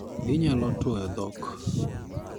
Ginyalo tuoyo dhok.